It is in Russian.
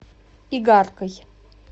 игаркой